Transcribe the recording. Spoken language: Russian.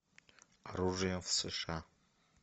оружие в сша